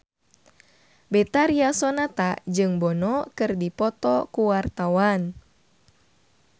Betharia Sonata jeung Bono keur dipoto ku wartawan